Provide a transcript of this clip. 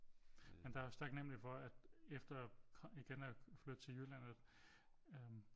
Jamen der er jeg også taknemlig for at efter igen at flytte til Jylland at øh